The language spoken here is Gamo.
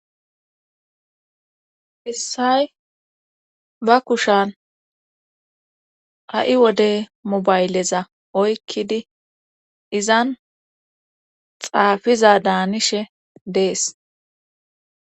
Issay ba kushan ha7i wodey mobayleza oykkidi izan xaafiza daanishe dees.